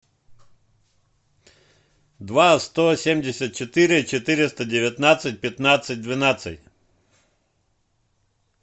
два сто семьдесят четыре четыреста девятнадцать пятнадцать двенадцать